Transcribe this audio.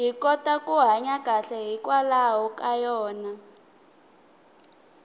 hi kota ku hanya kahle hikwalaho ka yona